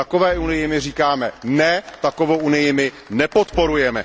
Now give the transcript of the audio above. Takové unii my říkáme ne, takovou unii my nepodporujeme.